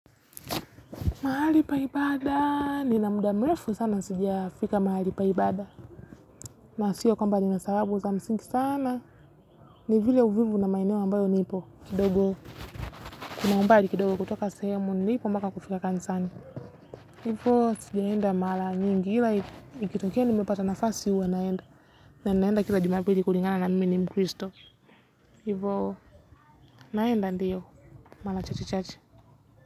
Mahali pa ibada, nina muda mrefu sana sijafika mahali pa ibada. Na sio kwamba ninasahau kuweka msingi sana. Ni vile uvivu na maeneo ambayo nipo. Kidogo, kuna umbai kidogo kutoka sehemu nilipo mbaka kufika kanisani. Hivo, sijaenda mara nyingi ila ikitokea nimepata nafasi huwa naenda. Na ninaenda kila jumapili kulingana na mimi ni mkristo. Hivo, naenda ndiyo, mara chache chache.